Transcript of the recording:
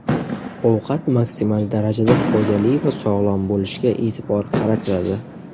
Ovqat maksimal darajada foydali va sog‘lom bo‘lishiga e’tibor qaratiladi.